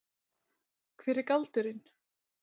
Hver er galdurinn?